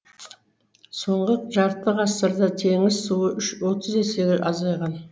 соңғы жарты ғасырда теңіз суы отыз есеге азайған